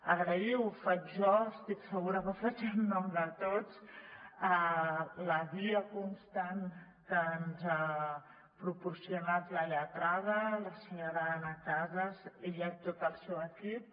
agrair ho faig jo estic segura que ho faig en nom de tots la guia constant que ens ha proporcionat la lletrada la senyora anna casas ella i tot el seu equip